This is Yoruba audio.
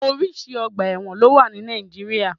Orísìí ọgbà ẹ̀wọ̀n ló wà ní Nàìjíríà